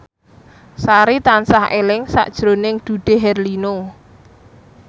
Sari tansah eling sakjroning Dude Herlino